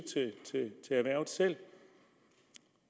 til erhvervet selv